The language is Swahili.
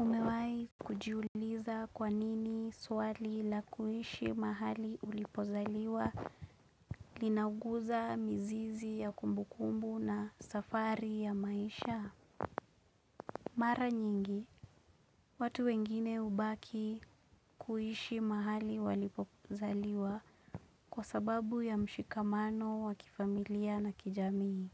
Umewahi kujiuliza kwa nini swali la kuishi mahali ulipozaliwa linauguza mzizi ya kumbukumbu na safari ya maisha. Mara nyingi, watu wengine hubaki kuishi mahali walipozaliwa kwa sababu ya mshikamano wa kifamilia na kijamii.